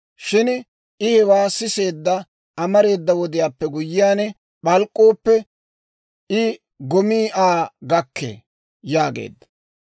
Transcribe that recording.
Shin I hewaa siseedda amareeda wodiyaappe guyyiyaan p'alk'k'ooppe, I gomii Aa gakkee» yaageedda.